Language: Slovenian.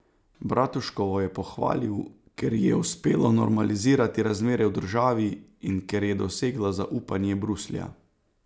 Bratuškovo je pohvalil, ker ji je uspelo normalizirati razmere v državi in ker je dosegla zaupanje Bruslja.